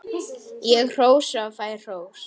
Ég hrósa og fæ hrós.